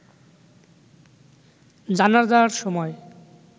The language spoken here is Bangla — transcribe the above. জানাজার সময়